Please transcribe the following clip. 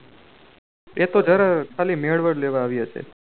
એ તો જરા ખાલી મેળવ લેવા આવી હશે